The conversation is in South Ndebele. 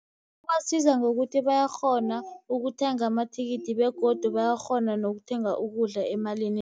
Ibasiza ngokuthi bayakghona ukuthenga amathikithi, begodu bayakghona nokuthenga ukudla emalini